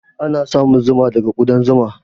Ana samun Zuma daga kuɗan Zuma.